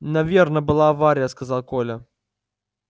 наверно была авария сказал коля